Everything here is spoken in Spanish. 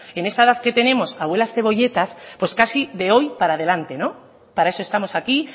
en esta edad que tenemos abuelas cebolletas pues casi de hoy para adelante para eso estamos aquí